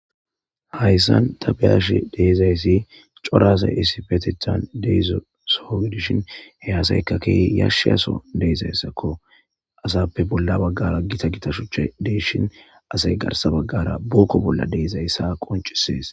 Hayssan tabiyash deezayssi corasa isipetethan deezo soowidishin he asaykakey yashshe aso deezayssakko asappe bolla baggara gita gitashuche deeshin asay garsa baggara bookko bolla deezayssa qoncisees